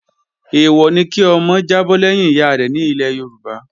Èèwọ̀ ni kí ọmọ jábọ́ lẹ́yìn ìyárẹ̀ nílẹ̀ Yorùbá